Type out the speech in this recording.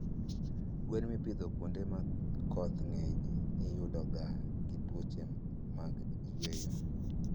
Gwen mipidho kuonde ma koth ngeny iyudoga gi tuoche mag yweyo